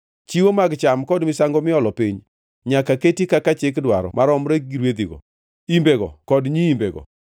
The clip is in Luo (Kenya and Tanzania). Chiwo mag cham kod misango miolo piny nyaka keti kaka chik dwaro maromre gi rwedhigo, imbego kod nyiimbego.